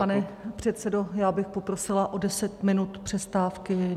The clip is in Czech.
Pane předsedo, já bych poprosila o deset minut přestávky.